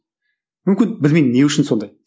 мүмкін білмеймін не үшін сондай